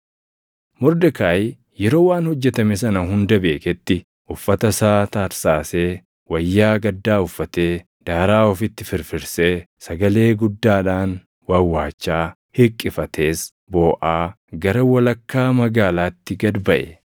Mordekaayi yeroo waan hojjetame sana hunda beeketti uffata isaa tarsaasee, wayyaa gaddaa uffatee, daaraa ofitti firfirsee, sagalee guddaadhaan wawwaachaa hiqqifatees booʼaa gara walakkaa magaalaatti gad baʼe.